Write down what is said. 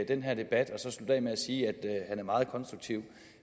den her debat og så slutte af med at sige at han er meget konstruktiv